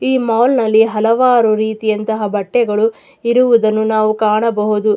ಈ ಮಾಲ್ ನಲ್ಲಿ ಹಲವಾರು ರೀತಿಯಂತ ಬಟ್ಟೆಗಳು ಇರುವುದನ್ನು ನಾವು ಕಾಣಬಹುದು.